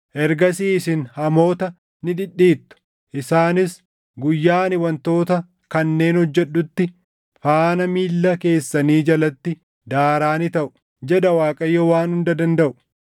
Ergasii isin hamoota ni dhidhiittu; isaanis guyyaa ani wantoota kanneen hojjedhutti faana miilla keessanii jalatti daaraa ni taʼu” jedha Waaqayyo Waan Hunda Dandaʼu.